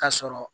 Ka sɔrɔ